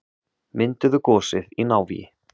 Mynduðu gosið í návígi